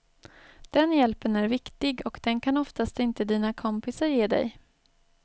Den hjälpen är viktig och den kan oftast inte dina kompisar ge dig.